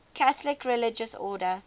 catholic religious order